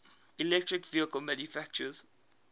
electric vehicle manufacturers